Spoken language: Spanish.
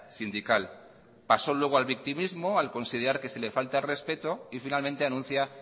sindical pasó luego al victimismo al considerar que sí le falta el respeto y finalmente anuncia